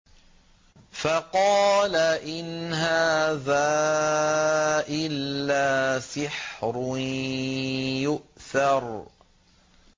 فَقَالَ إِنْ هَٰذَا إِلَّا سِحْرٌ يُؤْثَرُ